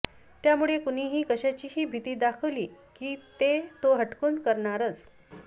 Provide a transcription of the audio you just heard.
त्यामुळे कुणीही कशाचीही भीती दाखवली की ते तो हटकून करणारच